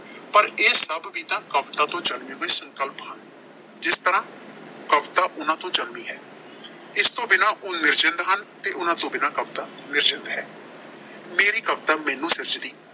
ਪਰ ਇਹ ਸਭ ਵੀ ਤਾਂ ਕਵਿਤਾ ਤੋਂ ਜਨਮੇ ਹੋਏ ਸੰਕਲਪ ਹਨ, ਜਿਸ ਤਰ੍ਹਾਂ ਕਵਿਤਾ ਉਨ੍ਹਾਂ ਤੋਂ ਜਨਮੀ ਹੈ। ਇਸ ਤੋਂ ਬਿਨਾਂ ਉਹ ਨਿਰਜਿੰਦ ਹਨ ਤੇ ਉਨ੍ਹਾਂ ਤੋਂ ਬਿਨਾਂ ਕਵਿਤਾ ਨਿਰਜਿੰਦ ਹੈ। ਮੇਰੀ ਕਵਿਤਾ ਮੈਨੂੰ ਸਿਰਜਦੀ